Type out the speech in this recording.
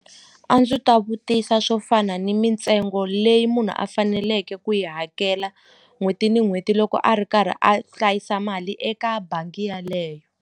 A ndzi ta vutisa swo fana ni mintsengo leyi munhu a faneleke ku yi hakela n'hweti ni n'hweti loko a ri karhi a hlayisa mali eka bangi yaleyo.